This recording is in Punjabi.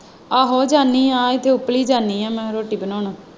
ਆਹੋ ਜਾਣੀ ਹੈ ਇੱਥੇ ਉੱਪਲੀ ਜਾਣੀ ਹੈ ਮੈਂ ਰੋਟੀ ਬਨਾਉਣ।